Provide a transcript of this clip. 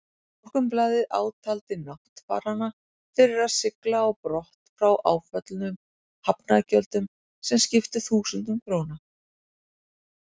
Morgunblaðið átaldi náttfarana fyrir að sigla á brott frá áföllnum hafnargjöldum, sem skiptu þúsundum króna.